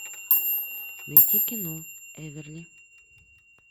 найти кино эверли